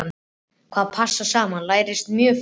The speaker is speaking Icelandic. Hvað passar saman lærist mjög fljótt.